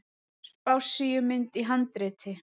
Spássíumynd í handriti.